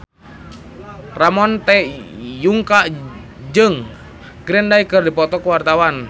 Ramon T. Yungka jeung Green Day keur dipoto ku wartawan